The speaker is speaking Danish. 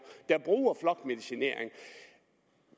der bruger flokmedicinering